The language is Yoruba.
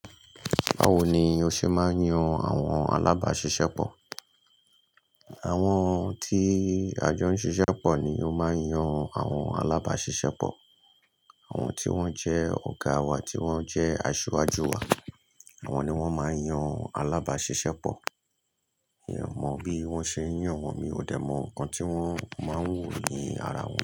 Báwo ni o ṣe máa ń yan àwọn alábàáṣiṣẹ́pọ̀? Àwọn tí àjọ ń ṣiṣẹ́ pọ̀ ni ó máa ń yan àwọn alábáṣiṣẹ́pọ̀. Àwọn tí wọ́n jẹ́ ọ̀gá wa, tí wọ́n jẹ́ aṣiwájú wa. Àwọn ni wọ́n máa ń yan alábáṣiṣẹ́pọ̀. Mi ò mọ̀ bí wọ́n ṣe ń yàn wọ́n, mi ò dẹ̀ mọ̀ ǹkan tí wọ́n máa ń wo ní ara wọn.